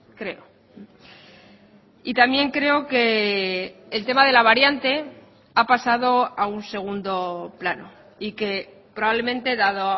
creo y también creo que el tema de la variante ha pasado a un segundo plano y que probablemente dado